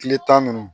Tile tan ninnu